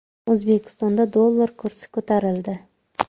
O‘zbekistonda dollar kursi ko‘tarildi.